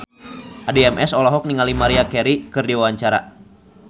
Addie MS olohok ningali Maria Carey keur diwawancara